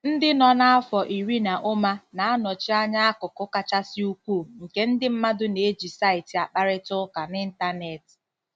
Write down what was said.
Ndị nọ n'afọ iri na ụma na-anọchi anya akụkụ kachasị ukwuu nke ndị mmadụ na-eji saịtị akparịta ụka n'Ịntanet......